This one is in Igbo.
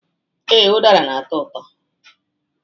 Ee, udara na-atọ ụtọ